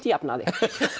jafna þig